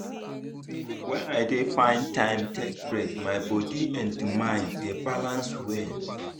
when i dey find time take break my body and mind dey balance well.